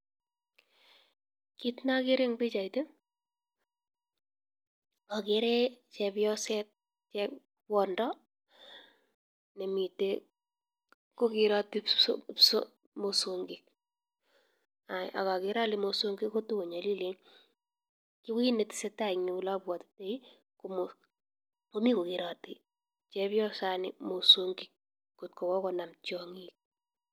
Kit neagere en bichait agere chepyoset nekwendo nemiten kogerati mosongik agagere Kole mosongik konyalilen ako kit netesetai en Komi kogerate chepyosaini mosongik kot konam tiangik